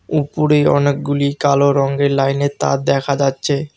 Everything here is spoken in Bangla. উপরে অনেকগুলি কালো রঙ্গের লাইনের তার দেখা যাচ্ছে।